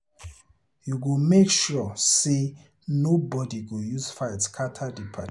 You go make sure sey nobodi go use fight scatter di party.